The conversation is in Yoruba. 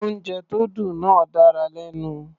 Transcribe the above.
Oúnjẹ tó dùn náà dára lẹ́nu.